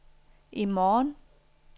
i morgen